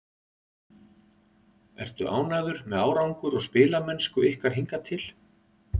Ertu ánægður með árangur og spilamennsku ykkar hingað til?